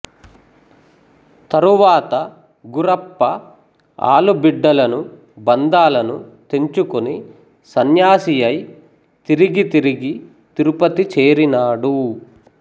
తరువాత గురప్ప ఆలుబిడ్డలను బంధాలను తెంచుకొని సన్యాసియై తిరిగి తిరిగి తిరుపతి చేరినాడు